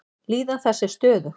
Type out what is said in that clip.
Líðan þess er stöðug.